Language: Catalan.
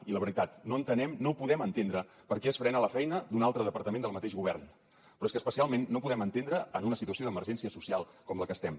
i la veritat no entenem no podem entendre per què es frena la feina d’un altre departament del mateix govern però és que especialment no ho podem entendre en una situació d’emergència social com la que estem